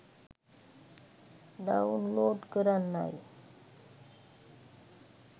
download කරන්නයි